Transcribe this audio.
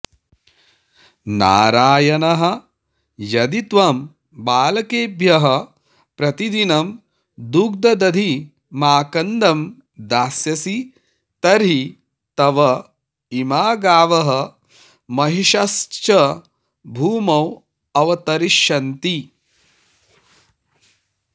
नारायणः यदि त्वं बालकेभ्यः प्रतिदिनं दुग्धदधिमाकन्दं दास्यसी तर्हि तव इमा गावः महिष्यश्च भूमौ अवतरिष्यन्ति